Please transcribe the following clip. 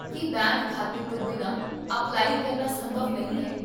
ਕੀ bank ਖਾਤੇ ਤੋਂ ਬਿਨਾਂ ਅਪਲਾਈ ਕਰਨਾ ਸੰਭਵ ਨਹੀਂ ਹੈ?